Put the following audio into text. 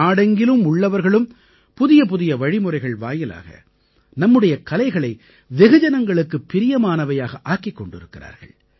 நாடெங்கிலும் உள்ளவர்களும் புதியபுதிய வழிமுறைகள் வாயிலாக நம்முடைய கலைகளை வெகுஜனங்களுக்குப் பிரியமானவையாக ஆக்கிக் கொண்டிருக்கிறார்கள்